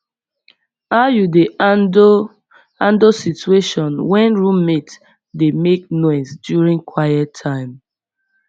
how you dey handle handle situation when roommate dey make noise during quiet time